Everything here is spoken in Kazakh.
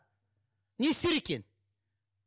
не істер екен